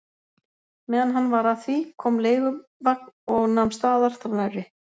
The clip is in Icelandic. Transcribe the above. Meðan hann var að því kom leiguvagn og nam staðar þar nærri.